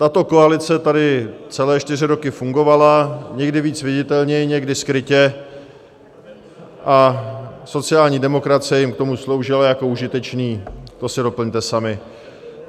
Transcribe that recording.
Tato koalice tady celé čtyři roky fungovala, někdy víc viditelně, někdy skrytě, a sociální demokracie jim k tomu sloužila jako užitečný... to si doplňte sami.